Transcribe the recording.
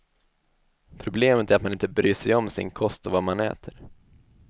Problemet är att man inte bryr sig om sin kost och vad man äter.